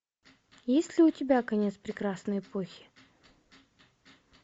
есть ли у тебя конец прекрасной эпохи